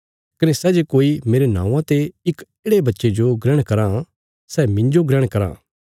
कने सै जे कोई मेरे नौआं ते इक येढ़े बच्चे जो ग्रहण कराँ सै मिन्जो ग्रहण कराँ